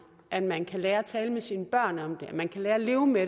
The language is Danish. at man kan lære at tale med sine børn om det at man kan lære at leve med